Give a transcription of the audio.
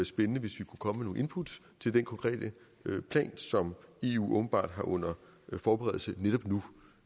spændende hvis vi kunne komme med nogle input til den konkrete plan som eu åbenbart har under forberedelse netop nu